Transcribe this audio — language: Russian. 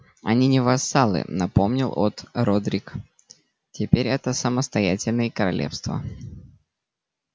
они не вассалы напомнил от родрик теперь это самостоятельные королевства